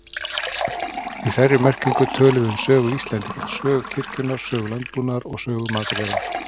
Í þeirri merkingu tölum við um sögu Íslendinga, sögu kirkjunnar, sögu landbúnaðar eða sögu matargerðar.